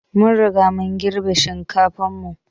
Mun Riga mun girbi shinkafan mu.